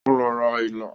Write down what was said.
O lọ ra ilá